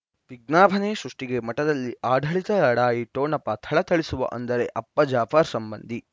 ವಿಜ್ಞಾಪನೆ ಸೃಷ್ಟಿಗೆ ಮಠದಲ್ಲಿ ಆಡಳಿತ ಲಢಾಯಿ ಠೊಣಪ ಥಳಥಳಿಸುವ ಅಂದರೆ ಅಪ್ಪ ಜಾಫರ್ ಸಂಬಂಧಿ